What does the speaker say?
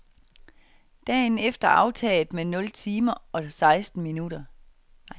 Dagen er aftaget med nul timer og seksten minutter.